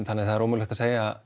þannig að það er ómögulegt að segja